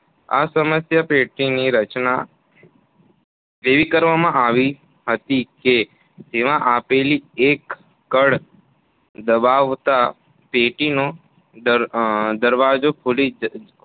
આ સમસ્યાપેટીની રચના એવી કરવામાં આવી હતી કે જેમાં આપેલી એક કળ દબાવતાં પેટીનો દરવાજો ખૂલી